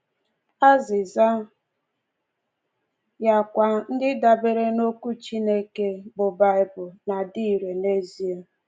Azịza ya kwa, ndị dabeere n’Okwu Chineke, bụ́ Baịbụl, na-adị irè n’ezie!